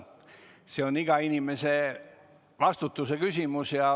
See on iga inimese vastutuse küsimus.